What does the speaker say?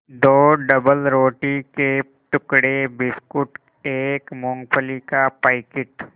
दो डबलरोटी के टुकड़े बिस्कुट एक मूँगफली का पैकेट